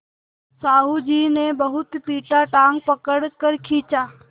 साहु जी ने बहुत पीटा टाँग पकड़ कर खींचा